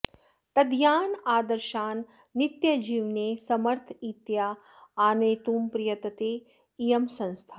तदीयान् आदर्शान् नित्यजीवने समर्थरीत्या आनेतुं प्रयतते इयं संस्था